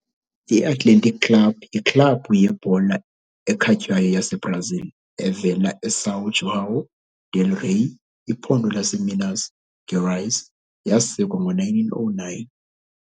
I-Athletic Club yiklabhu yebhola ekhatywayo yaseBrazil evela eSão João del-Rei, iphondo laseMinas Gerais, yasekwa ngo-1909.